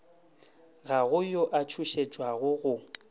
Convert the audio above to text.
ga go yo a tšhošetšwago